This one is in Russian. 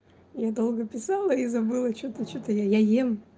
я долго писала и забыла что-то что-то я ем